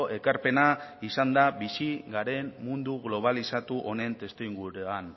ekarpena izan da bizi garen mundu globalizatu honen testuinguruan